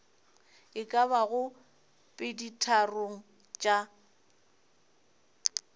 e ka bago peditharong tša